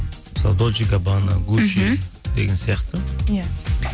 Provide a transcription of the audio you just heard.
мысалы деген сияқты иә